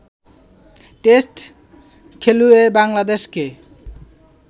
test খেলুড়ে বাংলাদেশকে